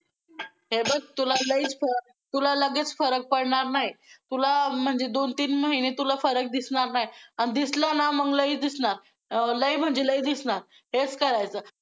हे बघ! तुला लयच, तुला लगेच फरक पडणार नाही, तुला म्हणजे दोन तीन महिने तुला फरक दिसणार नाही, आन दिसला ना मग, लय दिसणार, लय म्हणजे लय दिसणार हेच करायचं.